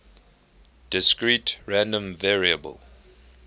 discrete random variable